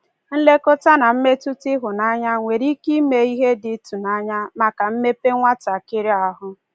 Nlekọta na mmetụta ịhụnanya nwere ike ime ihe dị ịtụnanya maka mmepe nwatakịrị ahụ.